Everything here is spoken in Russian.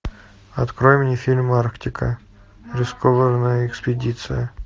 открой мне фильм арктика рискованная экспедиция